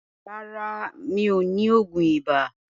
Rárá, mi ò ní oògùn ibà.